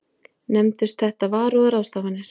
Nefndust þetta varúðarráðstafanir.